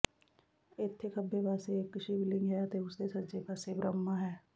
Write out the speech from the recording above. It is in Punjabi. ਇੱਥੇ ਖੱਬੇ ਪਾਸੇ ਇੱਕ ਸ਼ਿਵ ਲਿੰਗ ਹੈ ਅਤੇ ਉਸਦੇ ਸੱਜੇ ਪਾਸੇ ਬ੍ਰਹਮਾ ਹੈ